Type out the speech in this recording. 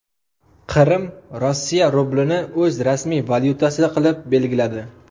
Qrim Rossiya rublini o‘z rasmiy valyutasi qilib belgiladi.